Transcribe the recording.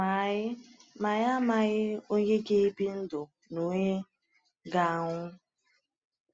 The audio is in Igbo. Ma anyị Ma anyị amaghị onye ga-ebi ndụ na onye ga-anwụ.